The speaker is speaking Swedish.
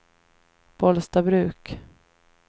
Bollstabruk